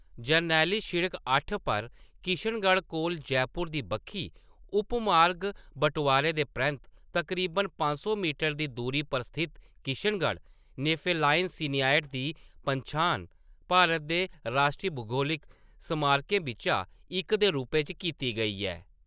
जरनैली शिड़क-अट्ठ पर किशनगढ़ कोला जयपुर दी बक्खी उपमार्ग बटोआरै दे परैंत्त तकरीबन पंज सौ मीटर दी दूरी पर स्थित किशनगढ़ नेफेलाइन सीनाइट दी पन्छान भारत दे राश्ट्री भूगोलिक स्मारकें बिच्चा इक दे रूपै च कीती गेई ऐ।